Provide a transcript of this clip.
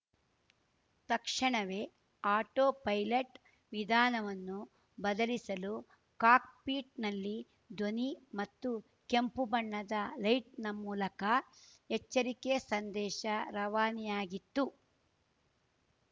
ತಕ್ಷಣವೇ autopilot ವಿಧಾನವನ್ನು ಬದಲಿಸಲು ಕಾಕ್‌ಪಿಟ್‌ನಲ್ಲಿ ಧ್ವನಿ ಮತ್ತು ಕೆಂಪು ಬಣ್ಣದ ಲೈಟ್‌ನ ಮೂಲಕ ಎಚ್ಚರಿಕೆ ಸಂದೇಶ ರವಾನೆಯಾಗಿತ್ತು